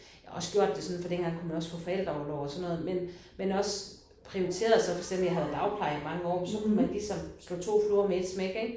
Jeg har også gjort det sådan for dengang kunne man også få forældreorlov og sådan noget men men også prioriteret så for eksempel jeg havde jo dagpleje i mange år så kunne man ligesom slå to fluer med ét smæk ik